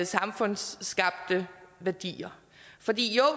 samfundsskabte værdier for jo